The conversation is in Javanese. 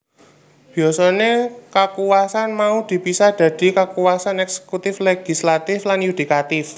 Biasané kakuwasan mau dipisah dadi kakuwasan eksekutif legislatif lan yudikatif